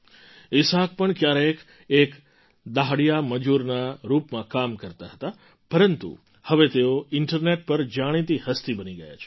ઈસાક પણ ક્યારેક એક દહાડિયા મજૂરના રૂપમાં કામ કરતા હતા પરંતુ હવે તેઓ ઇન્ટરનેટ પર જાણીતી હસ્તિ બની ગયા છે